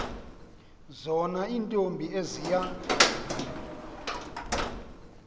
zona iintombi eziya